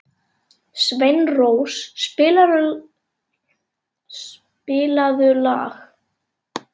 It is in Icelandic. Sveinrós, spilaðu lag.